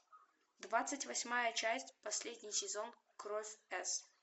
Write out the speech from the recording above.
двадцать восьмая часть последний сезон кровь с